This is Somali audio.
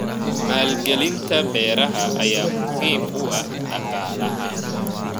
Maalgelinta beeraha ayaa muhiim u ah dhaqaalaha.